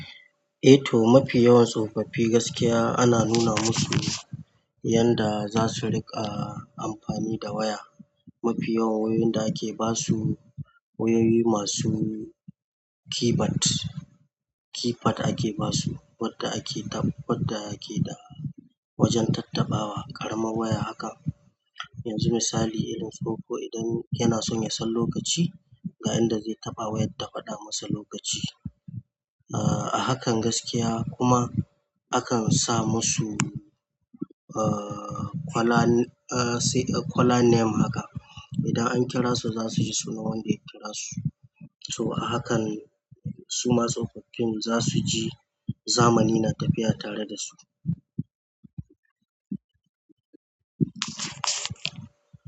Eh toh mafi yawan tsofaffi gaskiya ana nuna musu yanda zasu riƙa amfani da waya. Mafi yawan wayoyin da ake basu wayoyi masu keyboard, keypad ake basu, wadda ake wadda ake da wajen tattaɓawa, ƙarama waya haka. Yanzu misali, irin tsoho idan kina son ya san lokaci ga yanda zai taɓa wayar ta faɗa masa lokaci. Ah, a hakan gaskiya kuma akansa musu ah, kwala sai kwala name haka. Idan an kira su zasuji sunan wanda ya kira su. To a hakan suma tsofaffin zasuji zamani na tafiya tare da su.